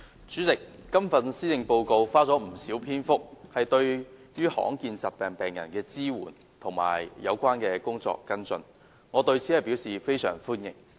主席，施政報告花了不少篇幅談論對罕見疾病病人的支援和有關工作的跟進，我對此表示非常歡迎。